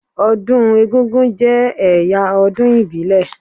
Ọdún egúngún jẹ́ ẹ̀yà ọdún ìbílẹ̀.